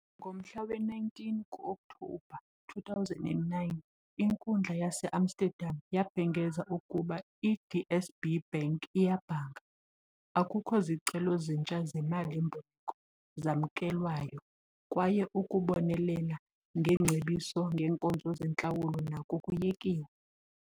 Ngomhla we-19 ku-Oktobha 2009, inkundla yaseAmsterdam yabhengeza ukuba i-DSB Bank iyabhanga. Akukho zicelo zitnsha zemali-mboleko zamkelwayo, kwaye ukubonelela ngeengcebiso ngeenkonzo zentlawulo nako kuyekiwe.